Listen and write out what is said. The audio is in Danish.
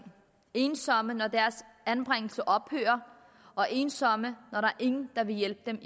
ensomme når deres anbringelse ophører og ensomme når ingen vil hjælpe